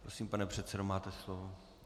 Prosím, pane předsedo, máte slovo.